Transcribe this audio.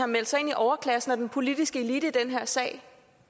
meldt sig ind i overklassen og den politiske elite i den her sag